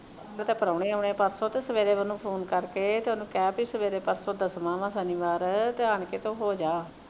ਉਹਨੂੰ ਕਹਿ ਪਰਸੋਂ ਤੇ ਪਰੌਣੇ ਆਣੇ ਹਾਂ ਪਰਸੋਂ ਤੇ ਸਵੇਰੇ phone ਕਰਕੇ ਤੇ ਉਹਨੂੰ ਕਿਹੈ ਪੀ ਸਵੇਰੇ ਪਰਸੋਂ ਦਸਵਾਂ ਵਾ ਸ਼ਨੀਵਾਰ ਆਣ ਕੇ ਤੇ ਹੋ ਜਾ